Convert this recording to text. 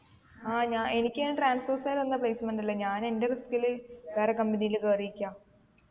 ആ ഞ എനിക്ക് അയിന് transorze കാര് തന്ന placement അല്ല ഞാൻ എൻ്റെ risk ല് വേറെ company ല് കേറിക്ക